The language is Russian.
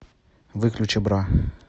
выключи бра